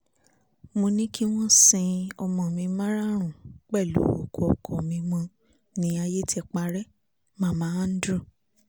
mo ní kí wọ́n sin ọmọ mi márààrún pẹ̀lú òkú ọkọ mi mọ́ ní ayé ti parẹ́ - mama andrew